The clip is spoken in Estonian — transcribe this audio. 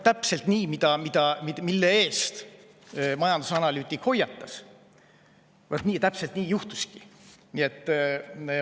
Täpselt see, mille eest majandusanalüütik hoiatas, juhtuski.